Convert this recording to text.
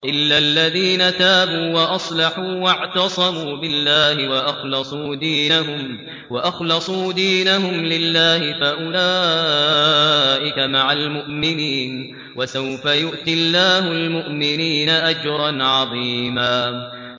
إِلَّا الَّذِينَ تَابُوا وَأَصْلَحُوا وَاعْتَصَمُوا بِاللَّهِ وَأَخْلَصُوا دِينَهُمْ لِلَّهِ فَأُولَٰئِكَ مَعَ الْمُؤْمِنِينَ ۖ وَسَوْفَ يُؤْتِ اللَّهُ الْمُؤْمِنِينَ أَجْرًا عَظِيمًا